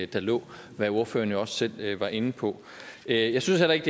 der lå hvad ordføreren jo også selv var inde på jeg jeg synes heller ikke